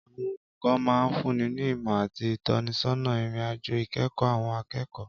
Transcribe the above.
Àwọn olùkọ́ máa ń fúnni ní ìmọ̀ àti ìtọ́sọ́nà ìrìn-àjò ìkẹ́kọ̀ọ́ àwọn akẹ́kọ̀ọ́.